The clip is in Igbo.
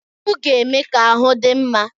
Akụ ga-eme ka ahu dị mma.